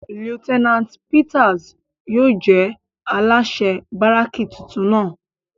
Lieutenant Peters yóò jẹ alaṣẹ baraki titun náa